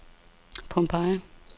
Pompeii